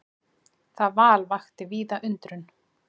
Það val vakti víða undrun.